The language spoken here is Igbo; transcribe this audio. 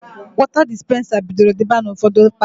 Wọta dispensa bidoro dịba n'ụfọdụ palọ.